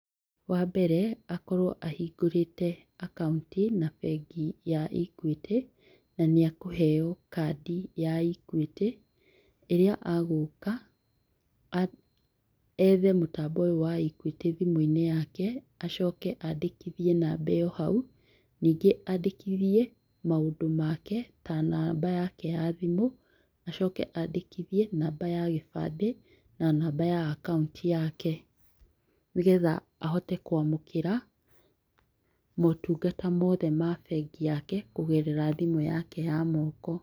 Wa mbere, akorwo ahingũrĩte akaũnti, na bengi ya Equity, na nĩ akũheo kandi ya Equity, ĩrĩa agũka, ethe mũtambo ũyũ wa Equity thimũ-inĩ yake, acoke andĩkithie namba ĩyo hau. Ningĩ andĩkithie maũndũ make, ta namba yake ya thimũ, acoke andĩkithie namba ya gĩbandĩ, na namba ya akaũnti yake, nĩgetha ahote kwamũkĩra motungata mothe ma bengi yake kũgerera thimũ yake ya moko.